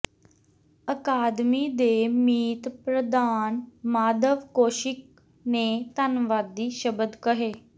ਅਕਾਦਮੀ ਦੇ ਮੀਤ ਪ੍ਰਧਾਨ ਮਾਧਵ ਕੌਸ਼ਿਕ ਨੇ ਧੰਨਵਾਦੀ ਸ਼ਬਦ ਕਹੇ